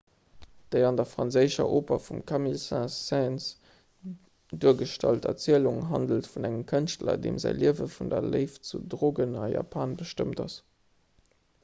déi an der franséischer oper vum camille saint-saens duergestallt erzielung handelt vun engem kënschtler deem säi liewe vun der léift zu drogen a japan bestëmmt ass